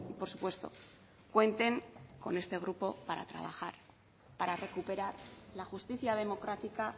por supuesto cuenten con este grupo para trabajar para recuperar la justicia democrática